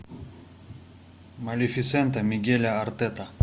малефисента мигеля артета